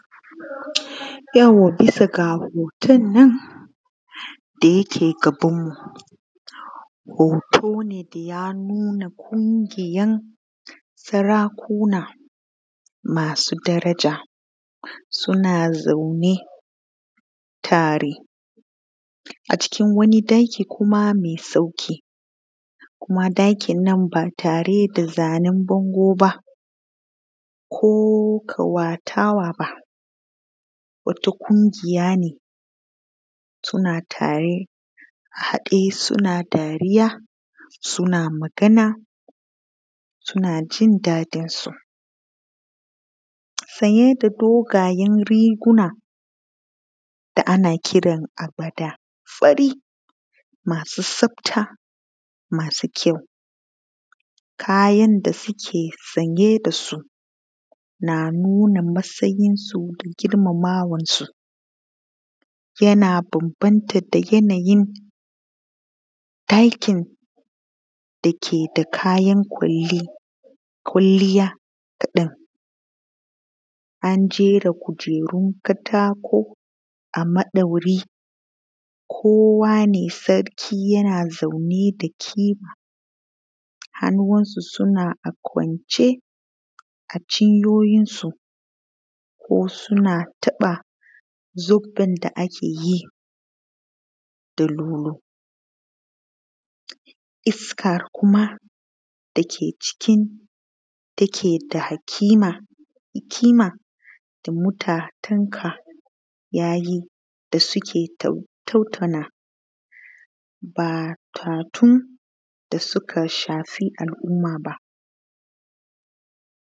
Yau bisa ga hotonnan da yake gabanmu hoto ne ya nuna ƙungiyan sarakuna masu daraja suna zaune tare a cikin wani ɗaki kuma mai sauƙi ɗakin nan ba tare da zanen bango ba ko ƙawatawa ba wato ƙungiya ne suna tare haɗe suna dariya suna magana suna jin daɗinsu, sanye da dogayen reguna da ana kiransu agwada maza fari masu tsafta masu kyau kayan da suke sanye da su na nauna matsayinsu da girmamawansu yana bana nata da yanayin ɗakin da ke da kayan kwalliya kaɗan anjera kujerun kataku a ɗaure ko wani sarki na zaune hannunsa yana kwance a cinyoyinsu ko suna taɓa zubban da akeyi da nono iska kuma dake cikin dake da hakima da mtatanka yayi da suke tattaunawa ba batun da suka shafi al’umma ba.